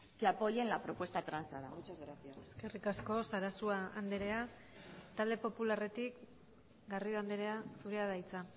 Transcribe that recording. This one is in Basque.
que apoyen la propuesta transada muchas gracias eskerrik asko sarasua andrea talde popularretik garrido andrea zurea da hitza